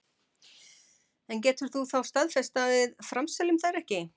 En getur þú þá staðfest að við framseljum þær ekki?